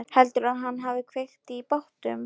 Heldurðu að hann hafi kveikt í bátnum?